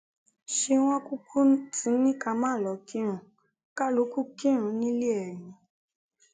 ṣé wọn kúkú ti ní ká má lọọ kírun kálukú kírun nílé ẹ ni